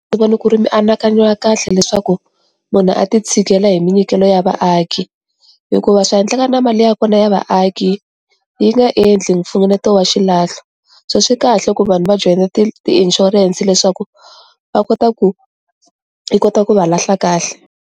Ni vona ku ri mianakanyo ya kahle leswaku munhu a ti tshegela hi minyikelo ya vaaki hikuva swa endleka na mali ya kona ya vaaki yi nga endli mfunguneto wa xilahlo so swi kahle ku vanhu va joyina ti ti ishurense leswaku va kota ku yi kota ku va lahla kahle.